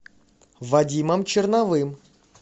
вадимом черновым